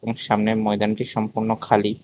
এক সামনের ময়দানটি সম্পূর্ণ খালি।